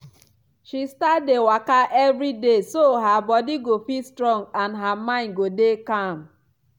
she start dey waka everi day so her body go fit strong and her mind go dey calm